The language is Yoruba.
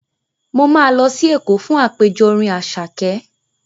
Mo máa lọ sí Èkó fún àpèjọ orin Àṣàké.